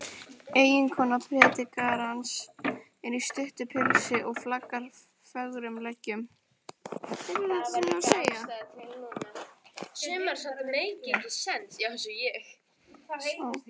Eiginkona predikarans er í stuttu pilsi og flaggar fögrum leggjum.